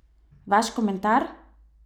Vaš komentar?